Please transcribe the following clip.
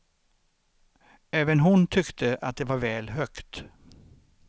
Även hon tyckte att det var väl hög.